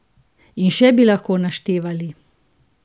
In še bi lahko naštevali.